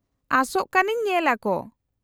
-ᱟᱥᱚᱜ ᱠᱟᱹᱱᱟᱹᱧ ᱧᱮᱞ ᱟᱠᱚ ᱾